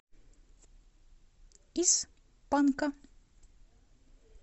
из панка